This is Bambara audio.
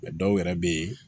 dɔw yɛrɛ bɛ yen